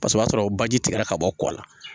Paseke o y'a sɔrɔ baji tigɛra ka bɔ kɔ la